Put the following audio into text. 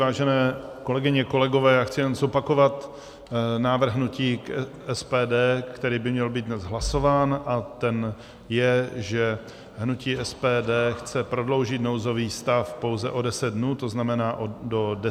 Vážené kolegyně, kolegové, já chci jen zopakovat návrh hnutí SPD, který by měl být dnes hlasován, a ten je, že hnutí SPD chce prodloužit nouzový stav pouze o 10 dnů, to znamená do 10. 11. Děkuji.